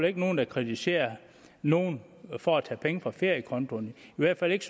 ikke nogen der kritiserer nogen for at tage penge fra feriekonto i hvert fald ikke